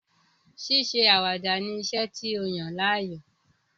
Ṣíṣe àwàdà ni iṣẹ́ ti yàn láàyò.